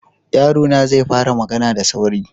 Yarona zai fara magana da sauri.